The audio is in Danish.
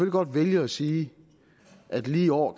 godt vælge at sige at lige i år